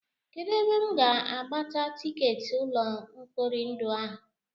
Kedụ ebe m ga-agbata tikeetị ụlọ mkpori ndụ a?